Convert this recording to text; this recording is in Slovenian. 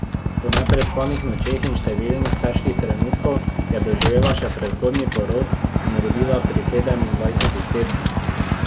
Po neprespanih nočeh in številnih težkih trenutkih je doživela še prezgodnji porod in rodila pri sedemindvajsetih tednih.